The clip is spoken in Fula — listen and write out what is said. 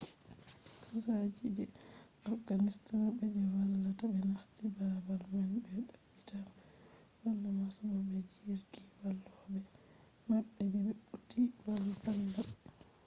sojaji je afghanistan be je vallata ɓe nasti baabal man be tabbitina wala masibo be jirgi vallobe maɓɓe je be turi valla ɓe